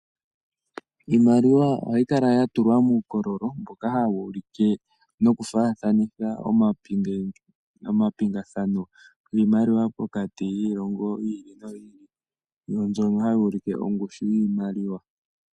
Iimaliwa ohayi kala ya tulwa muukololo mboka hawu ulike nokufaathanitha omapingathano kiimaliwi, pokati kiilongo niilongo, yo mbyono hayi ulike ongushu yiimaliwa